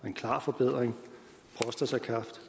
en klar forbedring prostatakræft